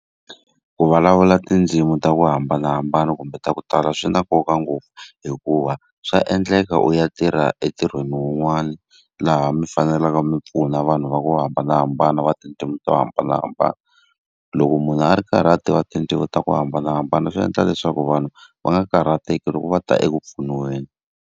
Ku vulavula tindzimi ta ku hambanahambana kumbe ta ku tala swi na nkoka ngopfu, hikuva swa endleka u ya tirha entirhweni wun'wani laha mi fanele mi na vanhu va ku hambanahambana va tindzimi to hambanahambana. Loko munhu a ri karhi a tiva tindzimi ta ku hambanahambana swi endla leswaku, vanhu va nga karhateki loko va ta eku pfuniweni.